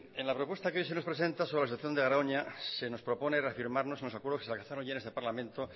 en la propuesta que hoy nos presenta sobre la situación de garoña se nos propone reafirmarnos en los acuerdos que se alcanzaron ya en este parlamento